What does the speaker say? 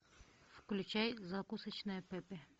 включай закусочная пепе